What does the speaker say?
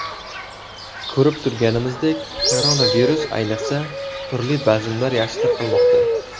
Ko‘rib turganimizdek, koronavirus, ayniqsa, turli bazmlar yaxshi tarqalmoqda.